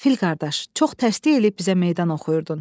Fil qardaş, çox təkəbbür eləyib bizə meydan oxuyurdun.